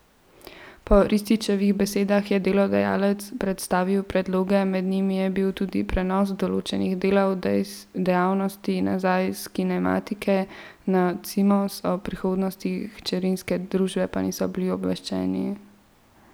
Po Ristićevih besedah je delodajalec predstavil predloge, med njimi je bil tudi prenos določenih delov dejavnosti nazaj s Kinematike na Cimos, o prihodnosti hčerinske družbe pa niso bili obveščeni.